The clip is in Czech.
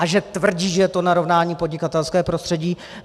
A že tvrdí, že je to narovnání podnikatelského prostředí.